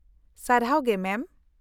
-ᱥᱟᱨᱦᱟᱣ ᱜᱮ ᱢᱮᱢ ᱾